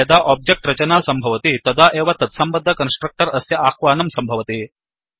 यदा ओब्जेक्ट् रचना सम्भवति तदा एव तत्सन्भद्ध कन्स्ट्रक्टर् अस्य आह्वानं सम्भवति